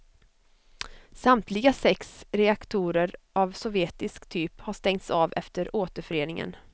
Samtliga sex reaktorer av sovjetisk typ har stängts av efter återföreningen.